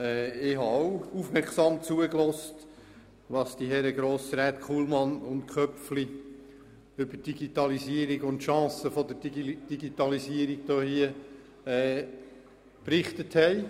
Ich habe auch aufmerksam zugehört, was die Herren Grossräte Kullmann und Köpfli über die Digitalisierung und ihre Chancen berichtet haben.